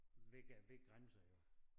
Ved ved grænse